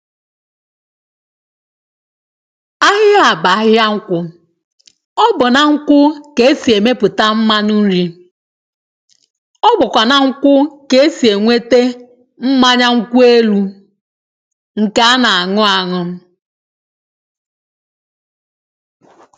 ihea bụ ahịa nkwụ ọbu na nkwụ K'esi emepụta mmanụ nri Ọbụkwa na nkwụ K'esi enwete mmanya nkwụelụ nke ana añu añu